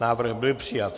Návrh byl přijat.